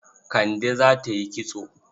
Kande za ta yi kitso.